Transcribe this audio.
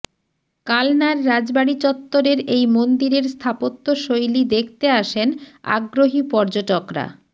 কালনার রাজবাড়ি চত্বরের এই মন্দিরের স্থাপত্যশৈলী দেখতে আসেন আগ্রহী পর্যটকরা